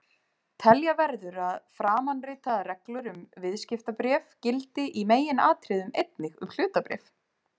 Telja verður að framanritaðar reglur um viðskiptabréf gildi í meginatriðum einnig um hlutabréf.